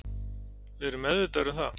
Við erum meðvitaðir um það